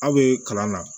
Aw bɛ kalan na